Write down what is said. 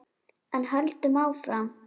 En höldum áfram: